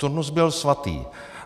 Turnus byl svatý.